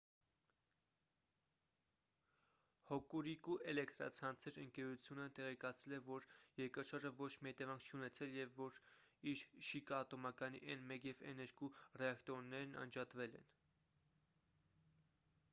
հոկուրիկու էլէկտրացանցեր ընկերությունը տեղեկացրել է որ երկրաշարժը ոչ մի հետևանք չի ունեցել և որ իր շիկա ատոմակայանի n1 և n2 ռեակտորներն անջատվել են